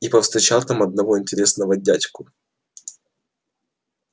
и повстречал там одного интересного дядьку